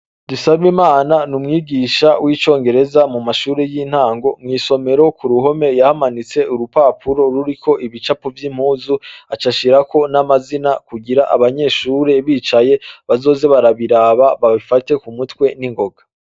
DUSABIMANA ni umwigisha w'icongereza mu mashure y'intango. Mw'isomero ku ruhome yahamanitse urupapuro ruriko ibicapo vy'impuzu aca ashirako n'amazina kugira abanyeshure bicaye bazoze barabiraba babifate ku mutwe ningoga.